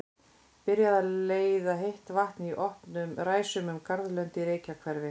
Byrjað að leiða heitt vatn í opnum ræsum um garðlönd í Reykjahverfi.